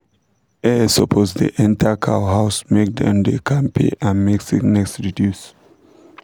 air supppose da enter cow house make dem da kampe and make sickness reduce